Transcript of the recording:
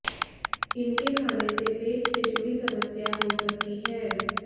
इनके खाने से पेट से जुड़ी समस्या हो सकती है